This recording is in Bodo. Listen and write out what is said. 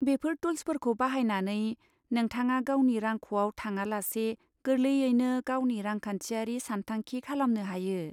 बेफोर टुल्सफोरखौ बाहायनानै, नोंथाङा गावनि रांख'आव थाङालासे गोरलैयैनो गावनि रांखान्थियारि सानथांखि खालामनो हायो।